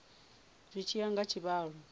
zwi tshi ya nga tshivhalo